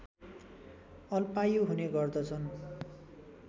अल्पायु हुने गर्दछन्